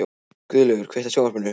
Guðlaugur, kveiktu á sjónvarpinu.